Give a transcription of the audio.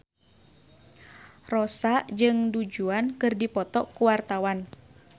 Rossa jeung Du Juan keur dipoto ku wartawan